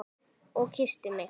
Og kyssti mig.